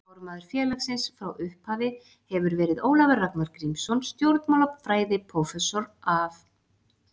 Formaður félagsins frá upp- hafi hefur verið Ólafur Ragnar Grímsson stjórnmálafræðiprófessor af